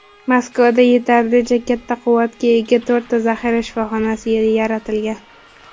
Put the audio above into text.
Moskvada yetarlicha katta quvvatga ega to‘rtta zaxira shifoxonasi yaratilgan.